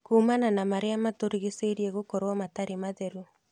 Kuumana na marĩa matũrigicĩirie gũkorwo matarĩ matheru